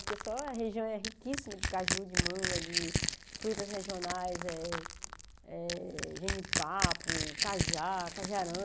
Porque só a região é riquíssima de caju, de manga, de frutas regionais eh eh, genipapo, cajá,